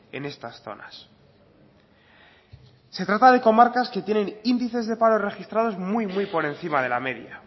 en estas zonas se trata de comarcas que tienen índices de paro registrados muy muy por encima de la media